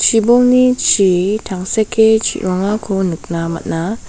chibolni chi tangseke chi·rongako nikna man·a.